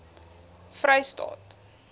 vrystaat